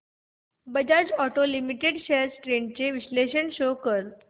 Bajaj auto limited shares trends चे विश्लेषण show कर